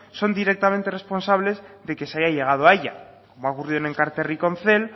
son directamente responsables de que se haya llegado a ella como ha ocurrido en enkarterri con cel